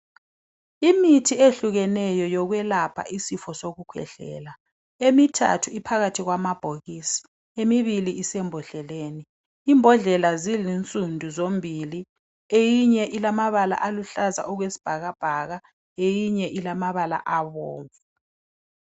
Imithi ehlukahlukeneyo yokwelapha isifo sokukhwehlela, emithathu iphakathi kwamabhokisi, emibili isembodleleni, imbodlela zilinsundu zombili eyinye ilamabala aluhlaza okwesibhakabhaka eyinye ilamabala abomvu.